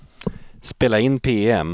spela in PM